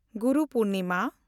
Guru Purnima